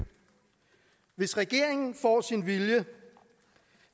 hvis regeringen får sin vilje